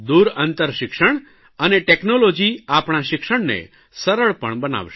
દૂર અંતર શિક્ષણ અને ટેકનોલોજી આપણા શિક્ષણને સરળ પણ બનાવશે